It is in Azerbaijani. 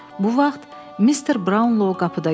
Bu vaxt Mister Brownlow qapıda göründü.